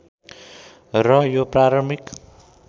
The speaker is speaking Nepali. र यो प्रारम्भिक